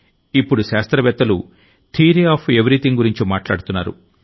ఇప్పుడు శాస్త్రవేత్తలు theory of everything గురించి మాట్లాడుతున్నారు